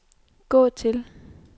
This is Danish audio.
gå til